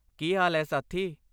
ਕੀ ਹਾਲ ਹੈ ਸਾਥੀ?